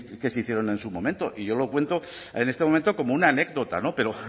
que se hicieron en su momento y yo lo cuento en este momento como una anécdota pero